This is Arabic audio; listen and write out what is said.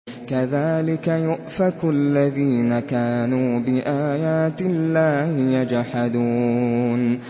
كَذَٰلِكَ يُؤْفَكُ الَّذِينَ كَانُوا بِآيَاتِ اللَّهِ يَجْحَدُونَ